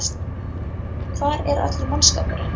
Hvar er allur mannskapurinn?